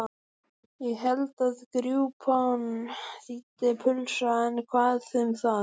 Ég hélt að grjúpán þýddi pulsa en hvað um það?